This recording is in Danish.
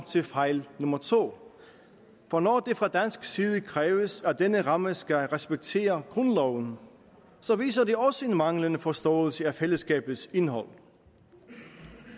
til fejl nummer to for når det fra dansk side kræves at denne ramme skal respektere grundloven viser det også en manglende forståelse af fællesskabets indhold